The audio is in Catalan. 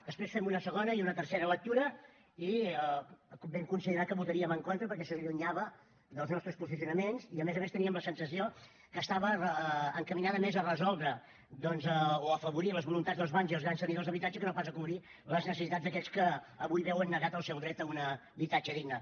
després en vam fer una segona i una tercera lectures i vam considerar que hi votaríem en contra perquè s’allunyava dels nostres posicionaments i a més a més teníem la sensació que estava encaminada més a afavorir les voluntats dels bancs i els grans tenidors d’habitatge que no pas a cobrir les necessitats d’aquells que avui veuen negat el seu dret a un habitatge digne